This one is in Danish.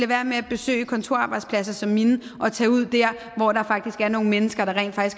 være med at besøge kontorarbejdspladser som min og tage ud der hvor der faktisk er nogle mennesker der